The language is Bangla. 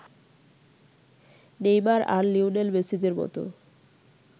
নেইমার আর লিওনেল মেসিদের মতো